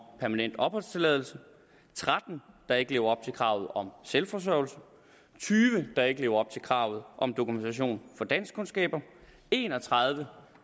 permanent opholdstilladelse tretten der ikke lever op kravet om selvforsørgelse tyve der ikke lever op til kravet om dokumentation for danskkundskaber en og tredive